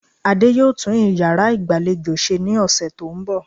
Adé yóò tún iyàrá ìgbàlejò se ní òsè tó n bò